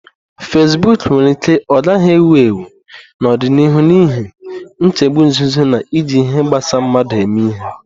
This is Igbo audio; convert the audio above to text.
Fasiboku nwere ike ọ gaghị ewu ewu n'ọdịnihu n'ihi nchegbu nzuzo na iji ihe gbasa mmadu eme ihe.